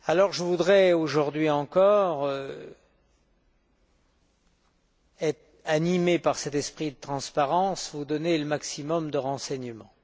Je voudrais aujourd'hui encore, animé par cet esprit de transparence, vous donner le maximum de renseignements.